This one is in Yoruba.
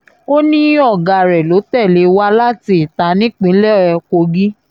ó ní ọ̀gá rẹ̀ ló tẹ̀lé wá láti itah nípínlẹ̀ kogi